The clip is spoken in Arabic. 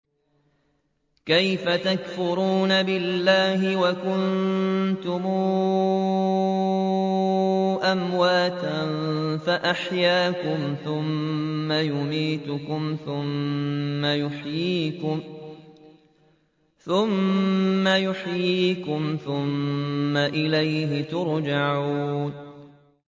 كَيْفَ تَكْفُرُونَ بِاللَّهِ وَكُنتُمْ أَمْوَاتًا فَأَحْيَاكُمْ ۖ ثُمَّ يُمِيتُكُمْ ثُمَّ يُحْيِيكُمْ ثُمَّ إِلَيْهِ تُرْجَعُونَ